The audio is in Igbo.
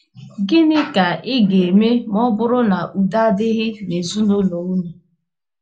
GỊNỊ ka ị ga - eme ma ọ bụrụ na udo adịghị n’ezinụlọ unu?